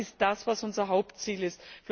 Das ist das, was unser Hauptziel